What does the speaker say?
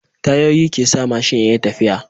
Tayoyi kesa mashin yayi tafiya